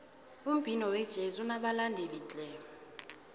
umbhino wejezi unobalandeli tle